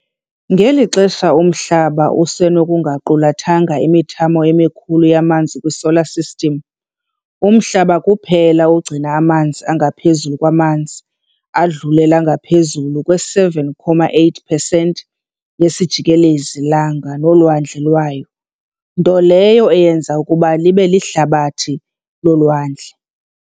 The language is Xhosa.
Ngelixa uMhlaba usenokungaqulathanga imithamo emikhulu yamanzi kwiSolar System, nguMhlaba kuphela ogcina amanzi angaphezulu kwamanzi, adlulela ngaphezu kwe-70.8 percent yesijikelezi-langa nolwandle lwayo, nto leyo eyenza ukuba libe lihlabathi lolwandle.